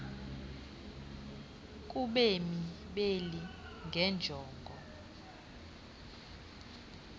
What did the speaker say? kubemi beli ngeenjongo